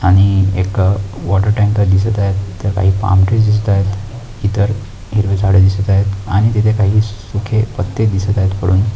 आणि एक water tank दिसत आहे तिचं काही पाम ट्रीज दिसत आहेत इतर हिरवी झाडी दिसत आहेत आणि तिथं काही सुखे पत्ते दिसत आहेत पुढून.